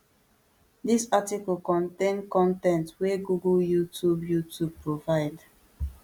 dis article contain con ten t wey google youtube youtube provide